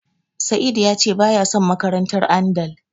Sa'idu ya ce baya son makarantar Andal.